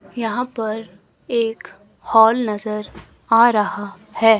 यहां पर एक हॉल नजर आ राहा हैं।